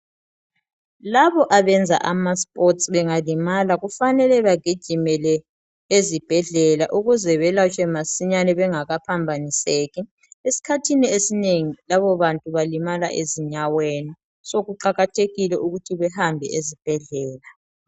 Labo abenza amasipoti bengalimala kumele bagijimele ezibhedlela ukuze belatshwe masinyane bengaka phambaniseki esikhathini esinengi labo bantu balimala ezinyaweni sokuqakathekile ukuthi behambe ezibhedlela ..